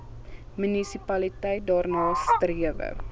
munisipaliteit daarna strewe